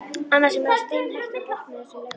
Annars er maður steinhættur að botna í þessum læknum.